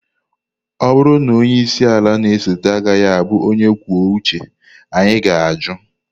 Ọ bụrụ na onye isi ala na-esote agaghị abụ onye kwuo uche anyị ga-ajụ!